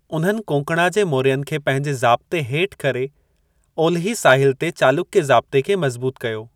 उन्हनि कोंकणा जे मौर्यनि खे पंहिंजे ज़ाब्ते हेठि करे ओलिही साहिलु ते चालुक्य ज़ाब्ते खे मज़बूत कयो।